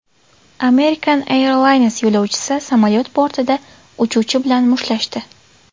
American Airlines yo‘lovchisi samolyot bortida uchuvchi bilan mushtlashdi.